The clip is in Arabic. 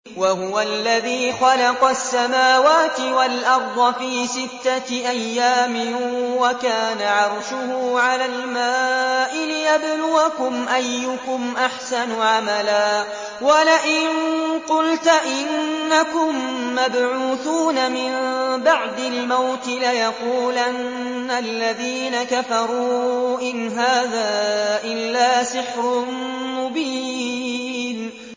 وَهُوَ الَّذِي خَلَقَ السَّمَاوَاتِ وَالْأَرْضَ فِي سِتَّةِ أَيَّامٍ وَكَانَ عَرْشُهُ عَلَى الْمَاءِ لِيَبْلُوَكُمْ أَيُّكُمْ أَحْسَنُ عَمَلًا ۗ وَلَئِن قُلْتَ إِنَّكُم مَّبْعُوثُونَ مِن بَعْدِ الْمَوْتِ لَيَقُولَنَّ الَّذِينَ كَفَرُوا إِنْ هَٰذَا إِلَّا سِحْرٌ مُّبِينٌ